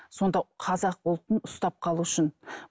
сонда қазақ ұлтын ұстап қалу үшін